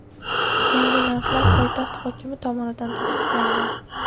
Yangi narxlar poytaxt hokimi tomonidan tasdiqlangan.